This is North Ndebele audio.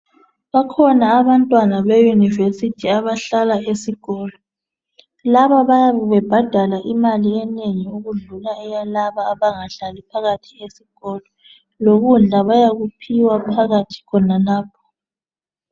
Bakhona abantwana beYunivesi abahlala esikolo. Laba bayabe bebhadala imali enengi ukudlula eyalaba abangahlali phakathi esikolo, lokudla bayakuphiwa phakathi khonalapha.